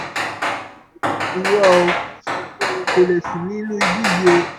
irọ́ o kò lè sùn inú ibí yìí o